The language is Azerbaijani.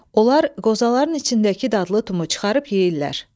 Onlar qozaların içindəki dadlı tumu çıxarıb yeyirlər.